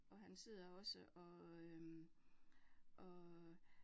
Og han sidder også og øh og